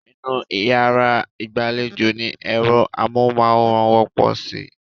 Inú yàrá ìgbàlejò ni ẹ̀rọ amóhùnmáwòrán wọ́pọ̀ sí.